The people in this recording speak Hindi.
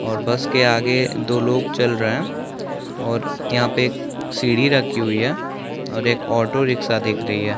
बस के आगे दो लोग चल रहै है और यहाँ पे सीढ़ी राखी हुई है और एक ऑटो रिक्शा दिख रही है।